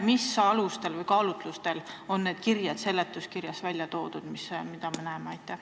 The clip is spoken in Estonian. Mis alustel või kaalutlustel on seletuskirjas välja toodud need kirjed, mida me näeme?